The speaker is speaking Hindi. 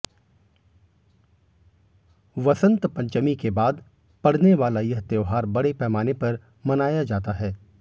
वसंत पंचमी के बाद पड़ने वाला यह त्योहार बड़ें पैमाने पर मनाया जाता है